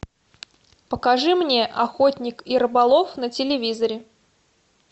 покажи мне охотник и рыболов на телевизоре